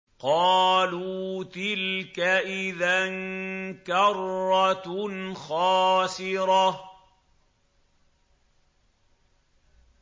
قَالُوا تِلْكَ إِذًا كَرَّةٌ خَاسِرَةٌ